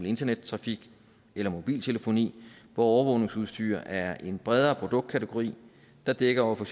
internettrafik eller mobiltelefoni hvor overvågningsudstyr er en bredere produktkategori der dækker over for